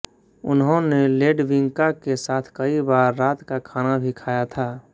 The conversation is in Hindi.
उन्होंने लेडविंका के साथ कई बार रात का खाना भी खाया था